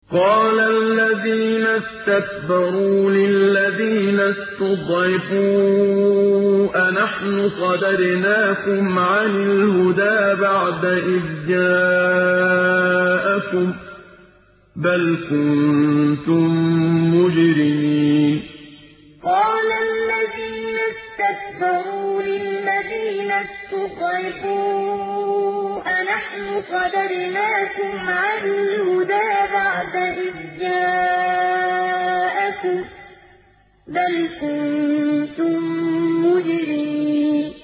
قَالَ الَّذِينَ اسْتَكْبَرُوا لِلَّذِينَ اسْتُضْعِفُوا أَنَحْنُ صَدَدْنَاكُمْ عَنِ الْهُدَىٰ بَعْدَ إِذْ جَاءَكُم ۖ بَلْ كُنتُم مُّجْرِمِينَ قَالَ الَّذِينَ اسْتَكْبَرُوا لِلَّذِينَ اسْتُضْعِفُوا أَنَحْنُ صَدَدْنَاكُمْ عَنِ الْهُدَىٰ بَعْدَ إِذْ جَاءَكُم ۖ بَلْ كُنتُم مُّجْرِمِينَ